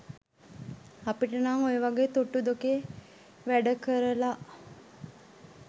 අපිට නං ඔය වගේ තුට්ටු දෙකේ වැඩ කරල